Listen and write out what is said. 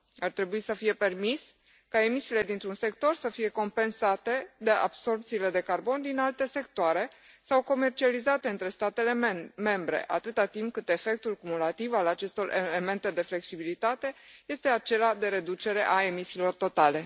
Ar trebui să fie permis ca emisiile dintr un sector să fie compensate de absorbțiile de carbon din alte sectoare sau comercializate între statele membre, atâta timp cât efectul cumulativ al acestor elemente de flexibilitate este acela de reducere a emisiilor totale.